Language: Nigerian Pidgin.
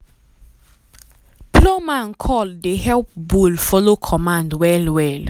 plowman call dey help bull follow command well well.